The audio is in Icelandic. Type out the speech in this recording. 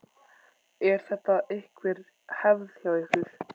Er þetta einhver hefð hjá ykkur?